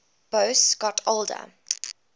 boas got older